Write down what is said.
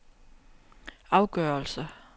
afgørelse